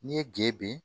N'i ye gede